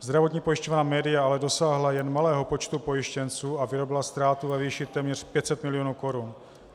Zdravotní pojišťovna MÉDIA ale dosáhla jen malého počtu pojištěnců a vyrobila ztrátu ve výši téměř 500 milionů korun.